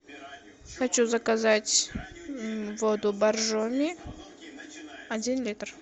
хочу заказать воду боржоми один литр